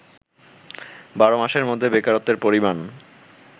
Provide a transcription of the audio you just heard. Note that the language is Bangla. ১২ মাসের মধ্যে বেকারত্বের পরিমাণ